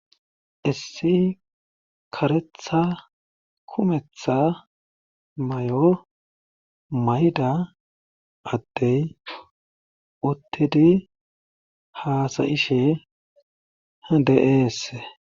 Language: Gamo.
Issi karetha kumetha mayo mayida addey uttidi haasa7ishe de7eese.